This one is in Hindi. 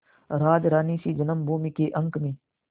राजरानीसी जन्मभूमि के अंक में